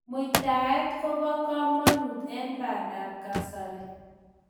Muitaet ko po kamanut eng pandap kesir